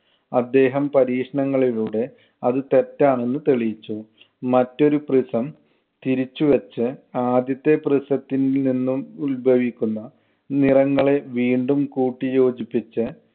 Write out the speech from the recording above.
അദ്ദേഹം പരീക്ഷണങ്ങളിലൂടെ അത് തെറ്റാണെന്ന് തെളിയിച്ചു. മറ്റൊരു prism തിരിച്ചുവെച്ച് ആദ്യത്തെ prism ത്തില്‍ നിന്നും ഉത്ഭവിക്കുന്ന നിറങ്ങളെ വീണ്ടും കൂട്ടി യോജിപ്പിച്ച്